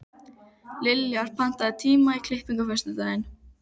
Liljar, pantaðu tíma í klippingu á föstudaginn.